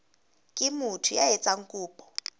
ke motho ya etsang kopo